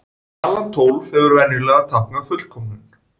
Talan tólf hefur venjulega táknað fullkomnum.